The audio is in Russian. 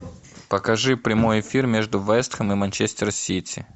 покажи прямой эфир между вест хэм и манчестер сити